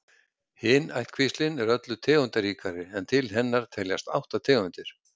Hin ættkvíslin er öllu tegundaríkari en til hennar teljast átta tegundir.